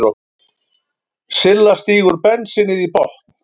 Silla stígur bensínið í botn.